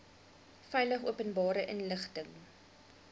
veilig openbare inligting